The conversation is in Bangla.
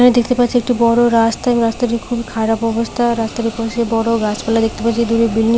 এখানে দেখতে পাচ্ছি একটা বড় রাস্তা এবং রাস্তাটি খুবই খারাপ অবস্থা রাস্তার পাশে বড় গাছপালা দেখতে পাচ্ছি দূরে বিল্ডিং --